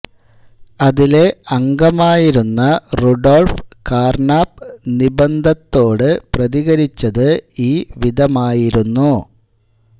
അതിലെ അംഗമായിരുന്ന Rudolf Carnap നിബന്ധത്തോട് പ്രതികരിച്ചത് ഈ വിധമായിരുന്നു